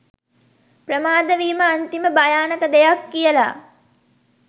ප්‍රමාද වීම අන්තිම භයානක දෙයක් කියල.